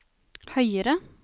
høyere